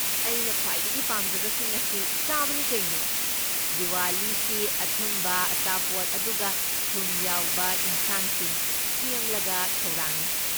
ꯑꯩꯅ ꯈ꯭ꯋꯥꯏꯗꯒꯤ ꯄꯥꯝꯖꯕꯁꯤꯡ ꯑꯁꯤ ꯆꯥꯕꯅꯤ ꯀꯩꯅꯣ꯫ ꯗꯤꯋꯥꯂꯤꯁꯤ ꯑꯊꯨꯝꯕ, ꯑꯆꯥꯄꯣꯠ, ꯑꯗꯨꯒ ꯊꯨꯝ ꯌꯥꯎꯕ ꯏꯟꯁꯥꯡꯁꯤꯡ ꯁꯦꯝꯂꯒ ꯊꯧꯔꯥꯡꯏ꯫